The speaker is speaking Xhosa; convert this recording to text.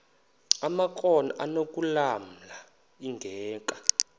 amakrot anokulamla ingeka